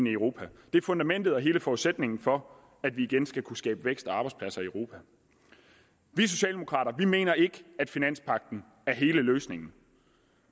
i europa det er fundamentet og hele forudsætningen for at vi igen skal kunne skabe vækst og arbejdspladser i europa vi socialdemokrater mener ikke at finanspagten er hele løsningen